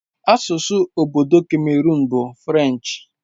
Asụsụ obodo Cameroon bụ French.